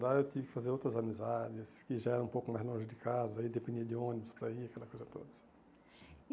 Lá eu tive que fazer outras amizades, que já era um pouco mais longe de casa, aí dependia de ônibus para ir, aquela coisa toda.